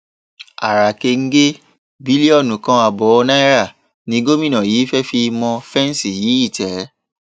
ara kẹńgẹ bílíọnù kan ààbọ náírà ni gómìnà yìí fẹẹ fi mọ fẹǹsì yí ìtẹ